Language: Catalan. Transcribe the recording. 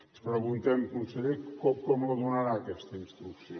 ens preguntem conseller com la donarà aquesta instrucció